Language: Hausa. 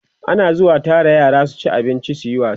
ana zuwa Tara yara su ci abinci suyi wasa